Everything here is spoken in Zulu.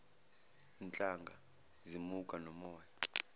nhlanga zimuka nomoya